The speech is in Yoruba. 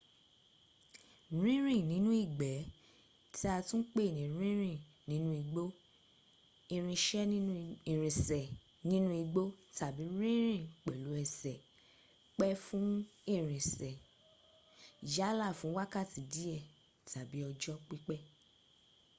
rínrìn nínú ìgbé tí a tún pẹ ní ìrìn inú’ igbó” ìrìnsẹ nínú igbó” tàbí rínrìn pèlú ẹsè” pẹ fún irinsé yálà fún wákàtí díè tàbí ọjọ́ pípé